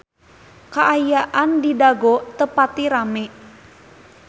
Kaayaan di Dago teu pati rame